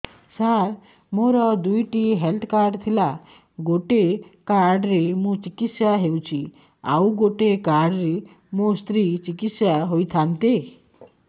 ସାର ମୋର ଦୁଇଟି health card ଥିଲା ଗୋଟେ କାର୍ଡ ରେ ମୁଁ ଚିକିତ୍ସା ହେଉଛି ଆଉ ଗୋଟେ କାର୍ଡ ରେ ମୋ ସ୍ତ୍ରୀ ଚିକିତ୍ସା ହୋଇଥାନ୍ତେ